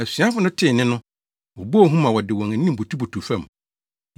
Asuafo no tee nne no, wɔbɔɔ hu ma wɔde wɔn anim butubutuw fam.